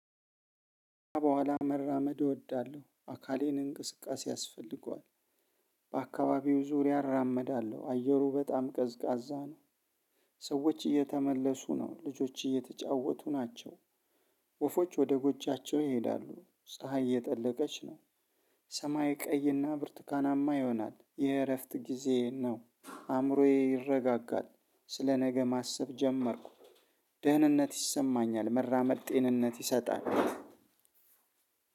በኋላ መራመድ እወዳለሁም አካሌ እንቅስቃሴ ያስፈልገዋል። በአካባቢው ዙሪያ አራመዳለሁ አየሩ በጣም ቀዝቃዛ ነው። ሰዎች እየተመለሱ ነው፣ ልጆች እየተጫወቱ ናቸው። ወፎች ወደ ጎጃቸው ይሄዳሉ። ፀሀይ እየጠለቀች ነው። ሰማይ ቀይና ብርቱካናማ ይሆናል። የእረፍት ጊዜ ነው አእምሮዬ ይረጋጋል ስለ ነገ ማሰብ ጀመርኩ ደህንነት ይሰማኛል መራመድ ጤንነት ይሰጣል።